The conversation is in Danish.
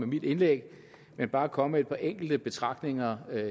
mit indlæg men bare komme med et par enkelte betragtninger